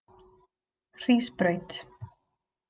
Hrísbraut